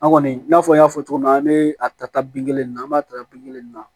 An kɔni n'a fɔ n y'a fɔ cogo min na an bɛ a ta bin kelen nin na an b'a ta bin kelen na